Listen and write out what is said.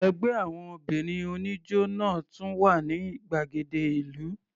Ẹgbẹ́ àwọn obìnrin oníjó náà tún wà ní gbàgede ìlú.